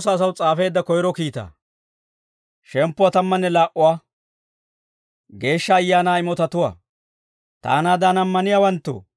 Taanaadan ammaniyaawanttoo, Geeshsha Ayaanaa imotaabaa hintte eranaw koyyay.